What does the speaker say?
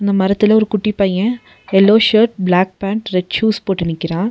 மரத்துல ஒரு குட்டி பைய yellow shirt black pant red shoes போட்டு நிக்கறா.